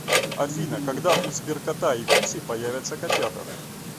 афина когда у сберкота и куси появятся котята